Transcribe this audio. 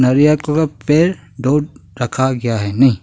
अरे यार थोड़ा पैर धो रखा गया है नहीं।